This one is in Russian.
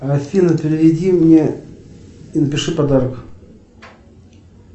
афина переведи мне и напиши подарок